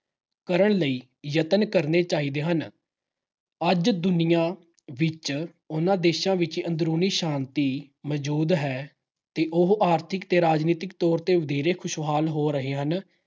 ਕਰਨ ਲਈ ਯਤਨ ਕਰਨੇ ਚਾਹੀਦੇ ਹਨ। ਅੱਜ ਦੁਨੀਆਂ ਵਿੱਚ ਉਹਨਾਂ ਦੇਸ਼ਾਂ ਵਿੱਚ ਅੰਦਰੂਨੀ ਸ਼ਾਂਤੀ ਮੌਜੂਦ ਹੈ ਤੇ ਉਹ ਆਰਥਿਕ ਤੇ ਰਾਜਨੀਤਿਕ ਤੌਰ ਤੇ ਵਧੇਰੇ ਖੁਸ਼ਹਾਲ ਹੋ ਰਹੇ ਹਨ